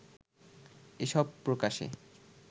এসব প্রকাশের